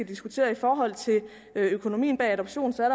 diskuteret i forhold til økonomien bag adoption så er